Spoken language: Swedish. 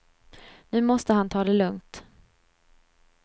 Nu måste han ta det lugnt.